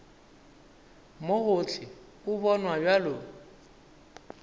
mo gohle o bonwa bjalo